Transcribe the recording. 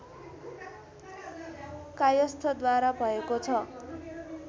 कायस्थद्वारा भएको छ